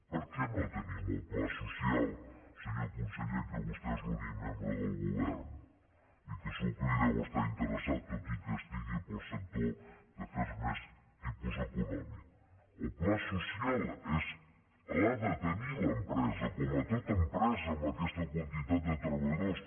per què no tenim el pla social senyor conseller que vostè és l’únic membre del govern i que segur que hi deu estar interessat tot i que estigui pel sector d’afers més de tipus econòmic el pla social l’ha de tenir l’empresa com a tota empresa amb aquesta quantitat de treballadors